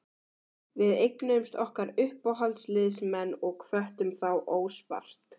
Við eignuðumst okkar uppáhaldsliðsmenn og hvöttum þá óspart.